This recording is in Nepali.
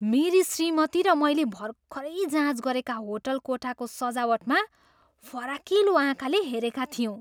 मेरी श्रीमती र मैले भर्खरै जाँच गरेका होटल कोठाको सजावटमा फराकिलो आँखाले हेरेका थियौँ।